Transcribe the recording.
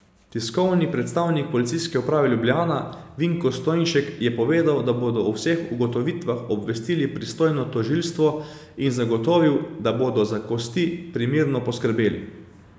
Tiskovni predstavnik Policijske uprave Ljubljana Vinko Stojnšek je povedal, da bodo o vseh ugotovitvah obvestili pristojno tožilstvo, in zagotovil, da bodo za kosti primerno poskrbeli.